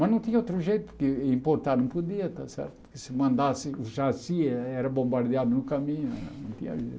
Mas não tinha outro jeito, porque importar não podia está certo, porque se mandasse o chassi, eh era bombardeado no caminho, não tinha jeito.